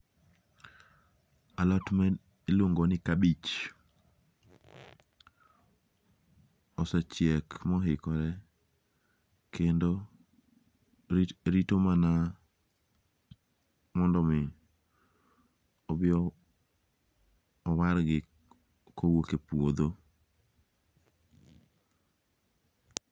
Alot ma iluongo' ni kabich asechiek moikore kendo rito mana mondo mi obiyo wargi kuwuok e puotho